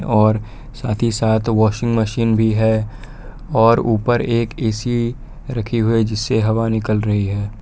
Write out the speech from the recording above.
और साथ ही साथ वॉशिंग मशीन भी है और ऊपर एक ऐ_सी रखी हुई है जिससे हवा निकल रही है।